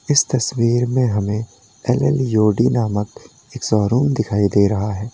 इस तस्वीर में हमें एल एल ओडी नामक एक शोरूम दिखाई दे रहा है।